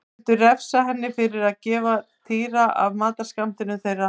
Þeir vildu refsa henni fyrir að gefa Týra af matarskammtinum þeirra.